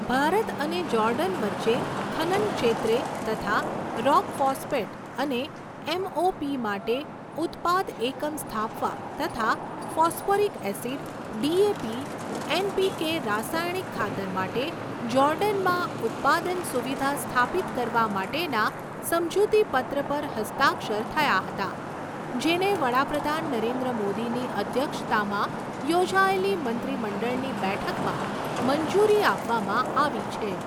ભારત અને જૉર્ડન વચ્ચે ખનન ક્ષેત્રે તથા રોક ફૉસ્ફેટ અને એમઓપી માટે ઉત્પાદ એકમ સ્થાપવા તથા ફૉસ્ફોરિક એસિડ, ડીએપી, એનપીકે રાસાયણિક ખાતર માટે જૉર્ડનમાં ઉત્પાદન સુવિધા સ્થાપિત કરવા માટેના સમજૂતીપત્ર પર હસ્તાક્ષર થયા હતા, જેને વડાપ્રધાન નરેન્દ્ર મોદીની અધ્યક્ષતામાં યોજાયેલી મંત્રીમંડળની બેઠકમાં મંજૂરી આપવામાં આવી છે.